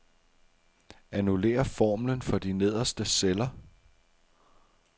Annullér formlen for de nederste celler.